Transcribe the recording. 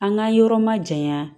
An ka yɔrɔ ma jayan